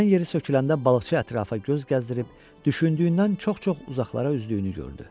Dan yeri söküləndə balıqçı ətrafa göz gəzdirib, düşündüyündən çox-çox uzaqlara üzdüyünü gördü.